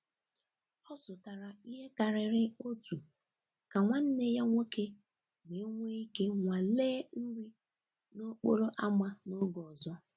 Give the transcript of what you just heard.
Ọ zụtara ihe karịrị otu ka nwanne ya nwoke wee nwee ike nwalee nri n'okporo ámá n’oge ọzọ.